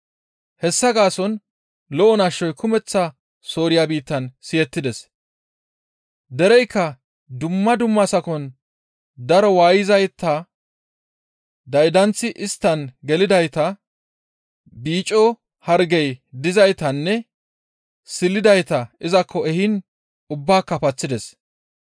Hessa gaason lo7o nashoy kumeththa Sooriya biittan siyettides; dereykka dumma dumma sakon daro waayettizayta, daydanththi isttan gelidayta, biicco hargey dizaytanne silidayta izakko ehiin ubbaaka paththides.